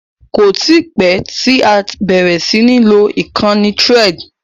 Kò tí pẹ́ tí a bẹ̀rẹ̀ sí ní lo ìkànnì Threads.